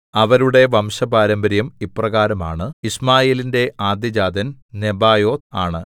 അവരുടെ വംശപാരമ്പര്യം ഇപ്രകാരം ആണ് യിശ്മായേലിന്റെ ആദ്യജാതൻ നെബായോത്ത് ആണ്